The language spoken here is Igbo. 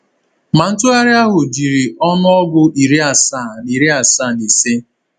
Ma ntụgharị ahụ jiri ọnụọgụ iri asaa na iri asaa na ise.